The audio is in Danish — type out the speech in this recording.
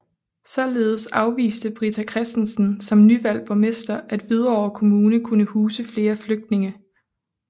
Således afviste Britta Christensen som nyvalgt borgmester at Hvidovre Kommune kunne huse flere flygtninge